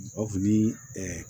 O fini